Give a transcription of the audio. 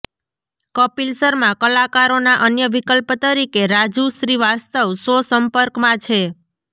કપીલ શર્મા કલાકારોના અન્ય વિકલ્પ તરીકે રાજુ શ્રીવાસ્તવ સો સંપર્કમાં છે